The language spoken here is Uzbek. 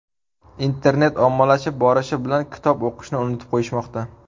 Internet ommalashib borishi bilan kitob o‘qishni unutib qo‘yishmoqda.